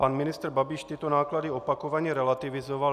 Pan ministr Babiš tyto náklady opakovaně relativizoval.